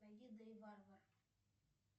найди дэйв варвар